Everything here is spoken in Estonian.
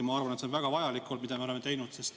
Ma arvan, et see on väga vajalik olnud, mida me oleme teinud.